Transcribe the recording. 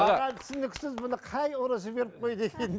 маған түсініксіз бұны қай ұры жіберіп қойды екен